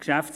(Unruhe